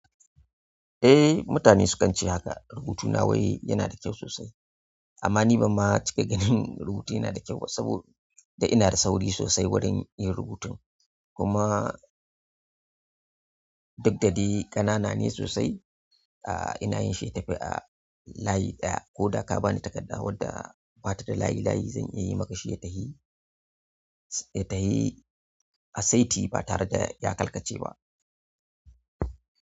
Eh, mutane sukan ce haka. Rubutuna wai yana da kyau sosai amma ni ban ma cika ganin rubutuna yana da kyau ba saboda ina da sauri sosai wurin yin rubutu. Kuma duk da dai ƙanana ne sosai, aa ina yin shi ya tafi a layi ɗaya ko da ka bani takarda wadda ba ta da layi layi zan iya yi maka shi ya tahi, ya tahi asaiti ba tare da ya karkace ba.